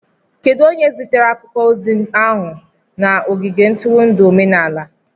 Kedu onye zitere akwụkwọ ozi ahụ na ogige ntụrụndụ omenala?